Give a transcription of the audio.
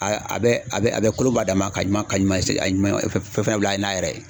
A a bɛ a bɛ a bɛ kolon bɔ a dan ma, ka ɲuman ka ɲuman a ɲuman fɛn fɛn bila n'a yɛrɛ ye.